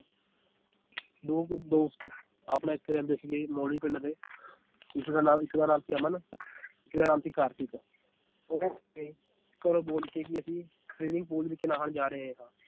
ਦੋ ਕੁ ਦੋਸਤ ਆਪਣਾ ਇਥੇ ਰਹਿੰਦੇ ਸੀਗੇ ਮੋਲੀ ਪਿੰਡ ਦੇ ਇੱਕ ਦਾ ਨਾਮ, ਇੱਕ ਦਾ ਨਾਮ ਸੀ ਅਮ ਇੱਕ ਦਾ ਨਾਮ ਸੀ ਕਾਰਤਿਕ ਉਹ ਇਹ ਘਰੋਂ ਬੋਲ ਕੇ ਕਿ ਅਸੀਂ swimming pool ਵਿਚ ਨਹਾਣ ਜਾ ਰਹੇ ਹਾਂ